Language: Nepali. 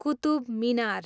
कुतुब मिनार